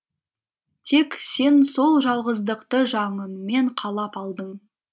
тек сен сол жалғыздықты жаныңмен қалап алдың